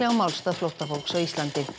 málstað flóttafólks á Íslandi